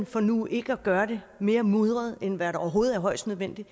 for nu ikke at gøre det mere mudret end hvad der overhovedet er højst nødvendigt